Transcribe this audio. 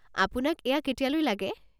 আপোনাক এয়া কেতিয়ালৈ লাগে?